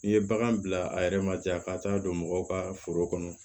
N'i ye bagan bila a yɛrɛ ma jaa ka taa don mɔgɔw ka foro kɔnɔ